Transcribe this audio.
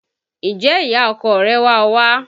Ǹjẹ́ ìyá ọkọ rẹ̀ wá ọ wá?